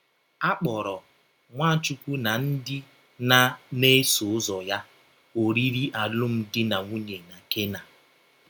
A kpọrọ “ Nwachụkwụ na ndị na na - eso ụzọ ya ” oriri alụmdi na nwụnye na Kena.